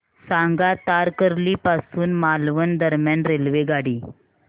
सांगा तारकर्ली पासून मालवण दरम्यान रेल्वेगाडी